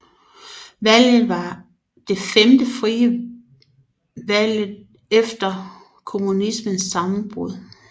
Valget var det femte frie valget efter kommunismens sammenbrud